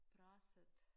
Pressede